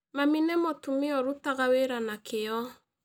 Mami nĩ mũtumia ĩrutaga wĩra na kĩyo